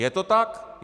Je to tak?